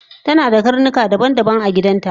tanada karnuka kala daban daban agidanta